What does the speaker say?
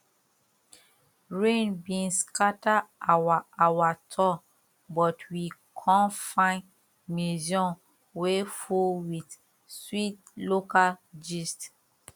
rain bin scatter our our tour but we con find museum wey full with sweet local gist